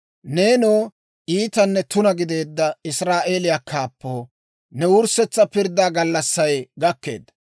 «Neenoo iitanne tuna gideedda Israa'eeliyaa kaappoo, ne wurssetsa pirddaa gallassay gakkeedda.